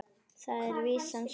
Þar er vísan svona